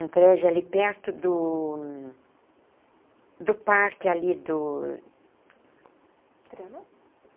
Um prédio ali perto do... do parque ali do... Trianon?